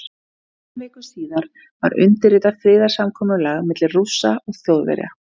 Tveimur vikum síðar var undirritað friðarsamkomulag milli Rússa og Þjóðverja.